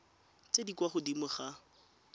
tse di kwa godimo ga